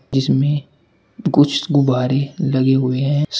जिसमे कुछ गुब्बारे लगे हुए है।